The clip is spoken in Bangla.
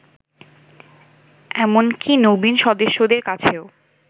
এমনকি নবীন সদস্যদের কাছেও